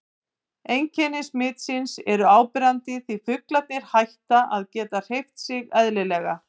Einkenni smitsins eru áberandi því fuglarnir hætta að geta hreyft sig eðlilega.